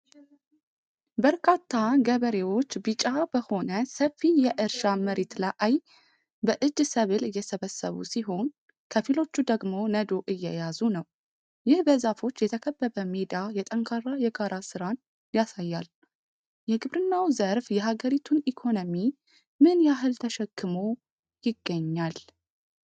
በርካታ ገበሬዎች ቢጫ በሆነ ሰፊ የእርሻ መሬት ላይ በእጅ ሰብል እየሰበሰቡ ሲሆን፣ ከፊሎቹ ደግሞ ነዶ እየያዙ ነው። ይህ በዛፎች የተከበበ ሜዳ የጠንካራ የጋራ ሥራን ያሳያል። የግብርናው ዘርፍ የሀገሪቱን ኢኮኖሚ ምን ያህል ተሸክሞ ይገኛል?